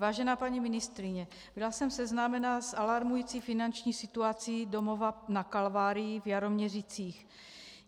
Vážená paní ministryně, byla jsem seznámena s alarmující finanční situací Domova na Kalvárii v Jaroměřicích.